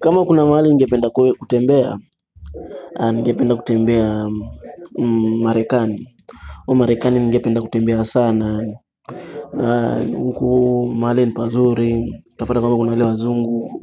Kama kuna maali ningependa kutembea. Ningependa kutembea Marekani Marekani ningependa kutembea sana. Na nkuu maali ni pazuri utapata kama kuna wale wazungu